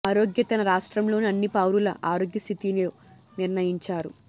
ఆరోగ్య తన రాష్ట్రంలోని అన్ని పౌరుల ఆరోగ్య స్థితి లో నిర్ణయించారు